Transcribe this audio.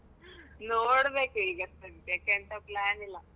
ನೋಡ್ಬೇಕು ಈಗ ಸದ್ಯಕ್ಕೆ ಎಂತ plan ಇಲ್ಲ.